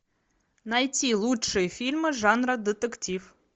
найти лучшие фильмы жанра детектив